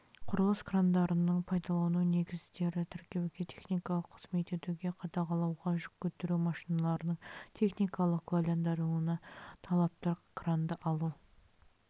құрылыс крандарының пайдалану негіздері тіркеуге техникалық қызмет етуге қадағалауға жүк көтеру машиналарының техникалық куәландыруына талаптар кранды алу